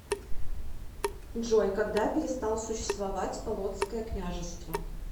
джой когда перестал существовать полоцкое княжество